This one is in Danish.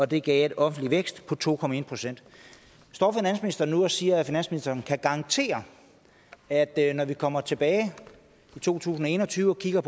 det gav en offentlig vækst på to procent står finansministeren nu og siger at finansministeren kan garantere at når vi kommer tilbage i to tusind og en og tyve og kigger